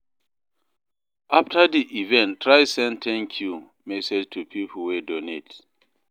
After di event try send 'thank you' message to pipo wey donate